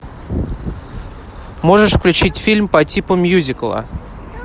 можешь включить фильм по типу мюзикла